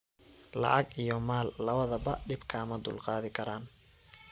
Lacag iyo maal lawadhaba dib kama dulqadikaran.